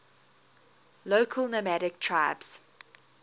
local nomadic tribes